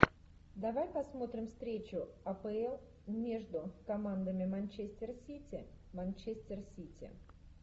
давай посмотрим встречу апл между командами манчестер сити манчестер сити